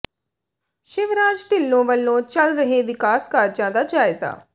ਸ਼ਿਵਰਾਜ ਿਢੱਲੋਂ ਵੱਲੋਂ ਚੱਲ ਰਹੇ ਵਿਕਾਸ ਕਾਰਜਾਂ ਦਾ ਜਾਇਜ਼ਾ